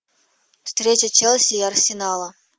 встреча челси и арсенала